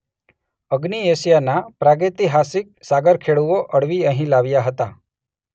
અગ્નિ એશિયાના પ્રાગૈતિહાસિક સાગરખેડૂઓ અળવી અહીં લાવ્યા હતા.